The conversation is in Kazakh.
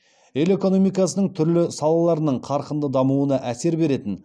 ел экономикасының түрлі салаларының қарқынды дамуына әсер беретін